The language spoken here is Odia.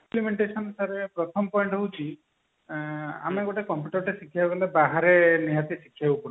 sir ପ୍ରଥମ point ହଉଛି ଆଁ ଆମେ ଗୋଟେ computer ଟେ ଶିଖିବାକୁ ଗଲେ ବାହାରେ ନିହାତି ଶିଖିବାକୁ ପଡୁଛି